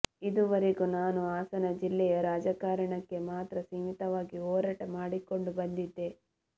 ಇದುವರೆಗೂ ನಾನು ಹಾಸನ ಜಿಲ್ಲೆಯ ರಾಜಕಾರಣಕ್ಕೆ ಮಾತ್ರ ಸೀಮಿತವಾಗಿ ಹೋರಾಟ ಮಾಡಿಕೊಂಡು ಬಂದಿದ್ದೆ